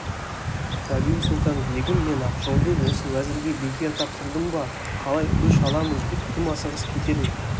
рабиу-сұлтан-бегім мен ақжолды осы уәзірге бекер тапсырдым ба қалай өш аламын деп тым асығыс кетер ме